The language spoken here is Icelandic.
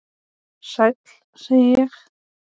Sæll, segi ég.